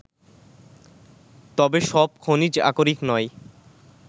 তবে সব খনিজ আকরিক নয়